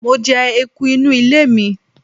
Mo je eku inu ile mi